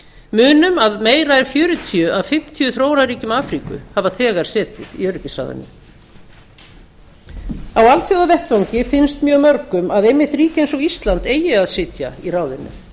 munum að meira en fjörutíu af fimmtíu þróunarríkjum afríku hafa setið í öryggisráðinu á alþjóðavettvangi finnst mjög mörgum að einmitt ríki eins og ísland eigi að sitja í ráðinu